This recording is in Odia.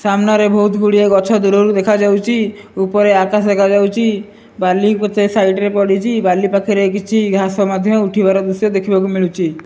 ସାମ୍ନାରେ ବହୁତ ଗୁଡିଏ ଗଛ ଦୂରରୁ ଦେଖାଯାଉଚି ଉପରେ ଆକାଶ ଦେଖାଯାଉଚି ବାଲି କେତେ ସାଇଟ ରେ ପଡିଚି ବାଲି ପାଖରେ କିଛି ଘାସ ମଧ୍ଯ ଉଠିବାର ଦୃଶ୍ଯ ଦେଖିବାକୁ ମିଳୁଚି।